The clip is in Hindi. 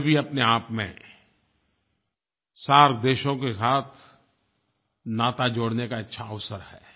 ये भी अपने आप में सार्क देशों के साथ नाता जोड़ने का अच्छा अवसर है